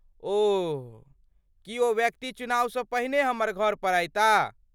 ओह, की ओ व्यक्ति चुनावसँ पहिने हमर घरपर अयता?